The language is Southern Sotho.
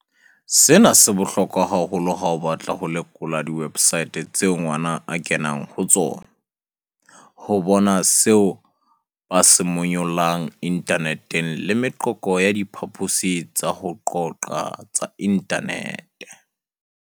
"Sena se bohlokwa haholo ha o batla ho lekola diwebsaete tseo ngwana a kenang ho tsona, ho bona seo ba se monyollang inthaneteng le meqoqo ya diphaposing tsa ho qoqa tsa inthanete."